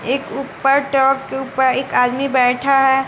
एक ऊपर टॉप के ऊपर एक आदमी बैठा है।